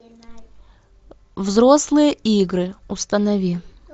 взрослые игры установи